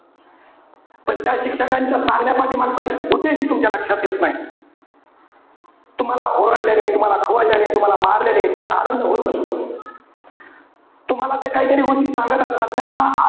पण त्या शिक्षकांच्या सांगण्यापाठीमागचा उद्देश तुमच्या लक्षात येत नाही. तुम्हाला ओरडल्याने, तुम्हाला खवळल्याने, तुम्हाला मारल्याने त्याना आनंद होत नसतो. तुम्हाला ते काहीतरी गोष्टी सांगत असतात. त्याना,